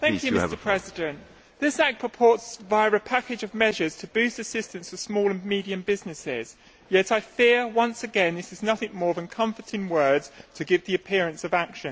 Mr President, this act purports, via a package of measures, to boost assistance for small and medium businesses yet I fear, once again, it is nothing more than comforting words to give the appearance of action.